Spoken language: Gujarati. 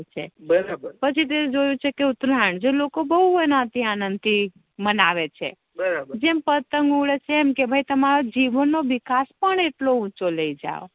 પછી તે જોયુ છે ઉતરાયણ જે લોકો બવ આનંદ થી મેનાવે છે બરાબર જેમ પતંગ ઉડે એમ તેમારો વિકાસ પણ ઉંચે લઇ જાવ